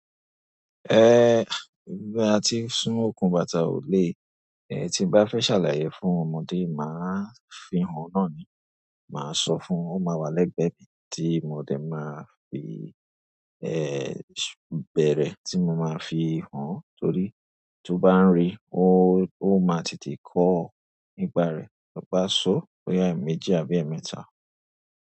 Eh, bí a ti so òkun bàtà ò le, eh tí bá fẹ́ ṣàlàyé fún ọmọdé máa fi hàn náà ni. Máa sọ fún ọma wa lẹ́gbẹ̀ẹ́ mí tí mọdé máa fi, eh bẹ̀rẹ̀ tí mo máa fi hàn torí tó bá ń rí ó, ó máa tètè kọ́ ọ nípà rẹ to bá sọ boyá èèmejì àbí èémẹ́ta.